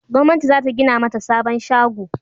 gwamnati za ta gina mata sabon shago